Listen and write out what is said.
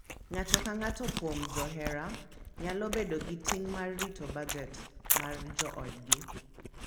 Ng’ato ka ng’ato kuom johera nyalo bedo gi ting’ mar rito bajet mar joodgi.